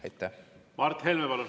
Mart Helme, palun!